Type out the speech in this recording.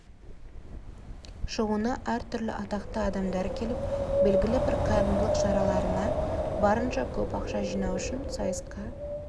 шоуына әр түрлі атақты адамдар келіп белгілі бір қайырымдылық шараларына барынша көп ақша жинау үшін сайысқа